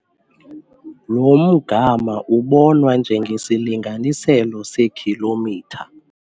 Lo mgama ubonwa njengesilinganiselo sekhilomitha